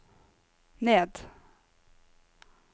ned